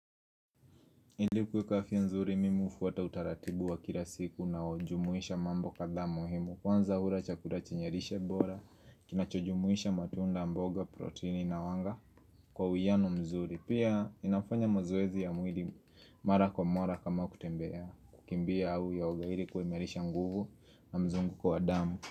Ili kuweka afya nzuri mimu ufuata utaratibu wa kila siku unajumuisha mambo kadhaa muhimu Kwanza hula chakula chinye lishe bora, kinachujumuisha matunda mboga, proteini na wanga kwa uwiano mzuri Pia inafanya mazoezi ya mwili mara kwa mqra kama kutembea kukimbia au yaga ili kuimarisha nguvu na mzunguko wadamu.